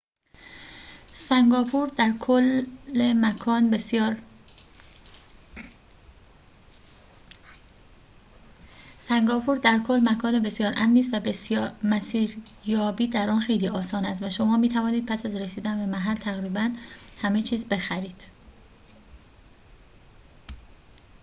سنگاپور در کل مکان بسیار امنی است و مسیریابی در آن خیلی آسان است و شما می‌توانید پس از رسیدن به محل تقریباً همه چیز بخرید